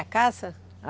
A caça?